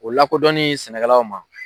O lakɔdɔni sɛnɛkɛlaw ma.